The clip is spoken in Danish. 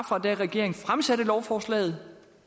fra regeringen fremsatte lovforslaget